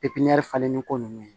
falenni ko nunnu ye